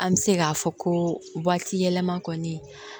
An bɛ se k'a fɔ ko waati yɛlɛma kɔni